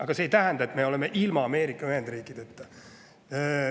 Aga see ei tähenda, et me ilma Ameerika Ühendriikideta.